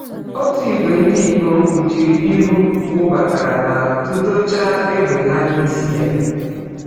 Ọtụ ìgwè ndị ikom kpuchiri ihu wabatara ma tụdọchaa égbè ha n’isi ya.